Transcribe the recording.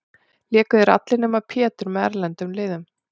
Léku þeir allir, nema Pétur, með erlendum liðum.